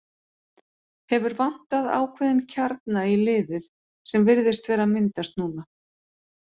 Hefur vantað ákveðinn kjarna í liðið sem virðist vera að myndast núna.